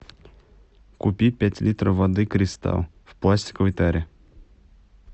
купи пять литров воды кристалл в пластиковой таре